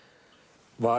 var